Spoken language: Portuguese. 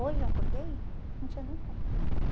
Hoje eu acordei, não tinha nem pão para tomar café.